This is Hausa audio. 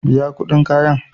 Biyan kuɗin kayan.